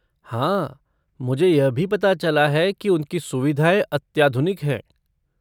हाँ, मुझे यह भी पता चला है कि उनकी सुविधाएँ अत्याधुनिक हैं।